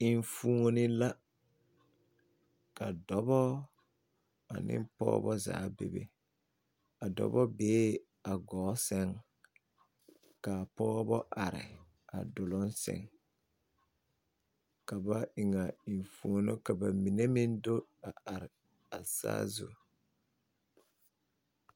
Enfuoni la ka dɔbɔ ane pɔɡeba zaa bebe a dɔbɔ bee a kɔɔ sɛŋ ka a pɔɡeba are a duloŋ sɛŋ ka ba eŋ a enfuoni ka ba mine meŋ do are a saazu.